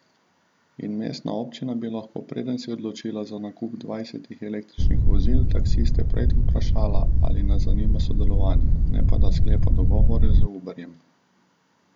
In mestna občina bi lahko, preden se je odločila za nakup dvajsetih električnih vozil, taksiste prej vprašala, ali nas zanima sodelovanje, ne pa da sklepa dogovore z Uberjem.